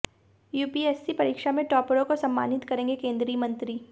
UPSC परीक्षा में टॉपरों को सम्मानित करेंगे केंद्रीय मंत्री